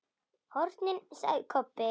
HORNIN, sagði Kobbi.